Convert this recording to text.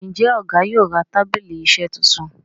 Njé Ọgá yóò rà tábìlì iṣe títún?